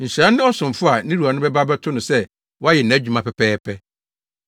Nhyira ne ɔsomfo a ne wura no bɛba abɛto no sɛ wayɛ nʼadwuma pɛpɛɛpɛ.